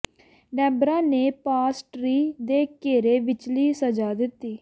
Deborah ਨੇ palm tree ਦੇ ਘੇਰੇ ਵਿਚਲੀ ਸਜ਼ਾ ਦਿੱਤੀ